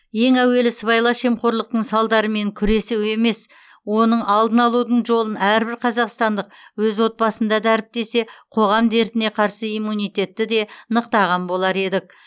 ең әуелі сыбайлас жемқорлықтың салдарымен күресу емес оның алдын алудың жолын әрбір қазақстандық өз отбасында дәріптесе қоғам дертіне қарсы иммунитетті де нықтаған болар едік